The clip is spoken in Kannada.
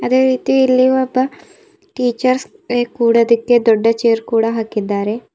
ಅದೇ ರೀತಿ ಇಲ್ಲಿ ಒಬ್ಬ ಟೀಚರ್ಸ್ ಕೊಡೋದಿಕ್ಕೆ ಒಂದು ದೊಡ್ಡ ಚೇರ್ ಕೂಡ ಹಾಕಿದ್ದಾರೆ.